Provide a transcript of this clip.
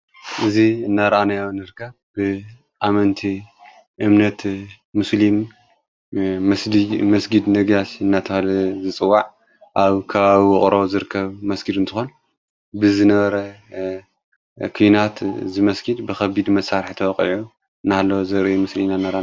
እዙይ እናርኣንያ ንርካ ብኣመንቲ እምነት ምስልም መስጊድ ነጊያስ እናታለ ዝጽዋዕ ኣብ ካባዊቕሮ ዘርከብ መስጊዱ ን ተኾን ብዘነረ ኲናት ዝመስጊድ ብኸቢድ መሣርሕተወቕዮ ናህሎ ዘር ምስልም ኣ ነኣርኣ ንርከብ።